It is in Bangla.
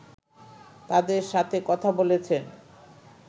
তাদের সাথে কথা বলেছেন